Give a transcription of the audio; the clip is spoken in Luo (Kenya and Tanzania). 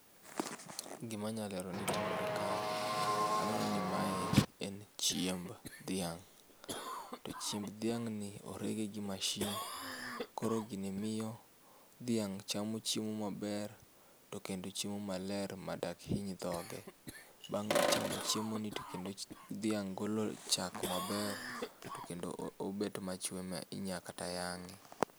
Gima anya lero ni timore kae aneno ni mae en chiemb dhiang to chiemb diang ni orege gi mashin koro gini miyo dhiang chamo chiemo maber to kendo chiemo maler madak hiny dhoge. Bang' cham chiemo ni to kendo dhiang golo chak maber to bende obet machwe ma inyal kata yange